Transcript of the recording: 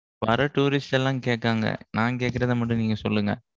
வர tourist லாம் கேட்டாங்க. நான் கேக்கிறத மட்டும் நீங்க சொல்லுங்க